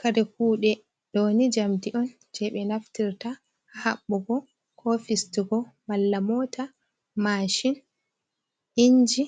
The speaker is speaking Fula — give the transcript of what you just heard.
Kare kuɗe ɗo ni jamdi on je ɓe naftirta ha haɓɓugo ko fistugo malla mota, mashin, inji